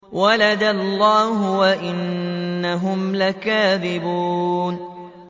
وَلَدَ اللَّهُ وَإِنَّهُمْ لَكَاذِبُونَ